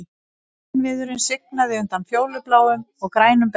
Vínviðurinn svignaði undan fjólubláum og grænum berjum